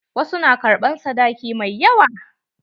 Wasu na ƙarɓan sadaki mai yawa.